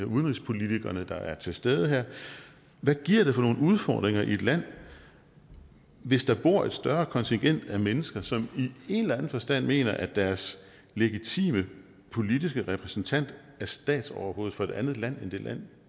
udenrigspolitikerne der er til stede her hvad giver det for nogle udfordringer i et land hvis der bor et større kontingent mennesker som i en eller anden forstand mener at deres legitime politiske repræsentant er statsoverhoved for et andet land end det land